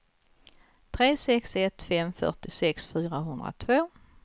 tre sex ett fem fyrtiosex fyrahundratvå